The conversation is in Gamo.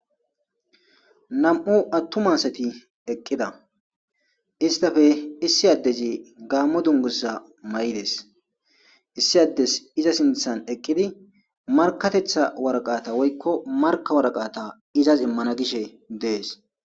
Nam'u attuma asati eqqida; istappe issi addezi gaamo dunguza mayides; issi addezi iza sinthan eqqidi markatetha waraqata woykko marka waraqata izas immana gishe de'es.